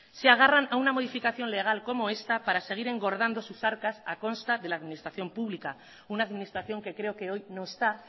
se agarran a una modificación legal como esta para seguir engordando sus arcas a costa de la administración pública una administración que creo que hoy no está